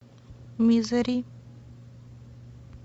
мизери